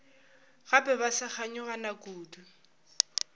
gape ba sa kganyogana kudu